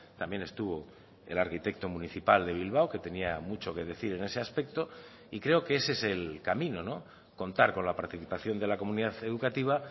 también estuvo el arquitecto municipal de bilbao que tenía mucho que decir en ese aspecto y creo que ese es el camino contar con la participación de la comunidad educativa